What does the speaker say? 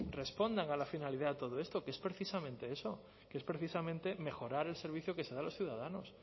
respondan a la finalidad de todo esto que es precisamente eso que es precisamente mejorar el servicio que se da a los ciudadanos